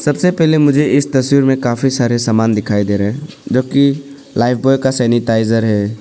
सबसे पहले मुझे इस तस्वीर में काफी सारे सामान दिखाई दे रहे हैं जो कि लाइफ ब्वॉय का सैनिटाइजर है।